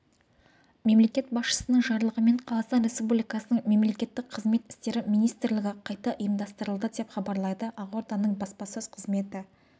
мемлекет басшысының жарлығымен қазақстан республикасының мемлекеттік қызмет істері министрлігі қайта ұйымдастырылды деп хабарлайды ақорданың баспасөз қызметі